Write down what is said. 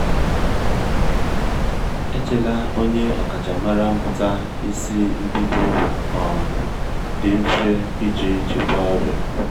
echela onye ọkachamara mụta isi mbido um dị mfe iji chịkwaa ọrịa